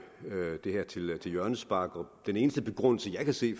det her til hjørnespark den eneste begrundelse jeg kan se